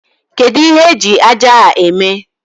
Kedụ ihe eji ájá a eme?